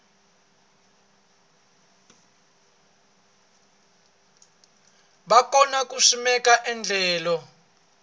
va kona ku simeka endlelo